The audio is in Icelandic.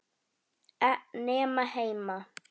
Nema heima.